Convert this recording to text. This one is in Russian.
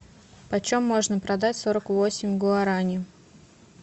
почем можно продать сорок восемь гуарани